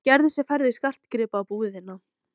Hann gerði sér ferð í skartgripabúðina.